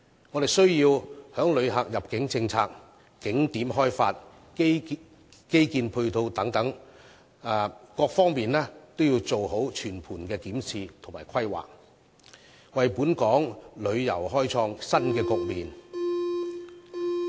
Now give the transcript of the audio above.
我們必須在旅客入境政策、景點開發及基建配套等方面，做好全盤的檢視和規劃，為本地旅遊開創新局面。